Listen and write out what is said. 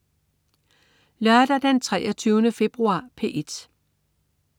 Lørdag den 23. februar - P1: